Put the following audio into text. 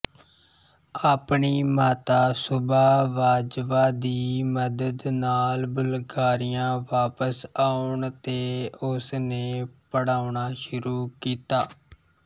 ਆਪਣੀ ਮਾਤਾ ਸੁਬਾ ਵਾਜ਼ਵਾ ਦੀ ਮਦਦ ਨਾਲ ਬੁਲਗਾਰੀਆ ਵਾਪਸ ਆਉਣ ਤੇ ਉਸਨੇ ਪੜ੍ਹਾਉਣਾ ਸ਼ੁਰੂ ਕੀਤਾ